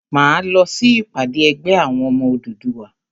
Máa lọ sí ìpàdé ẹgbẹ́ àwọn ọmọ Odùduwà.